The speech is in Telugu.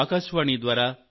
నా దేశ వాసులారా